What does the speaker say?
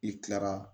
I kilara